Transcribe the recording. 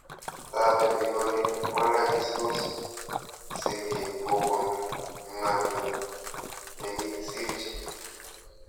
Tabeni ole walakistos sig'ik kopun ng'alyo ne kikisirchi